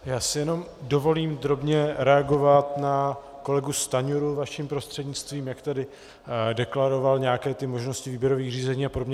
Já si jenom dovolím drobně reagovat na kolegu Stanjuru vaším prostřednictvím, jak tady deklaroval nějaké ty možnosti výběrových řízení a podobně.